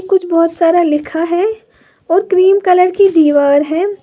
कुछ बहुत सारा लिखा है और क्रीम कलर की दीवार है।